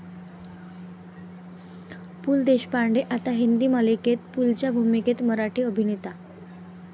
पु. ल. देशपांडे आता हिंदी मालिकेत, पुलंच्या भूमिकेत मराठी अभिनेता